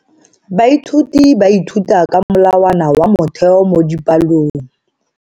Baithuti ba ithuta ka molawana wa motheo mo dipalong.